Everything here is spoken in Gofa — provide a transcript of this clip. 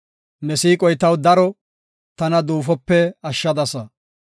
Ne siiqoy taw daro; tana duufope ashshadasa.